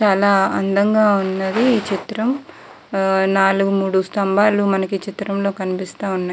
చాలా అందంగా ఉన్నది ఈ చిత్రం నాలుగు మూడు స్తంభాలు మనకి ఈ చిత్రం లో కనిపిస్తున్నాయి --